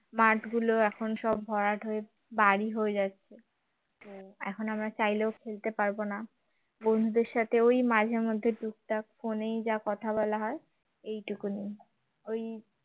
মাঠগুলো এখন সব ভরাট হয়ে বাড়ি হয়ে যাচ্ছে এখন আমরা চাইলেও খেলতে পারবো না বন্ধুদের সাথে মাঝে মধ্যে টুকটাক phone এই যা কথা বলা হয় এইটুকুনি ওই